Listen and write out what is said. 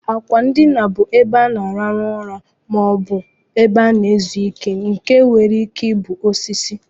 Akwa ndina bu ebe ana alarụ ụra ma obu izu ike nke nwere ike ibu osisi.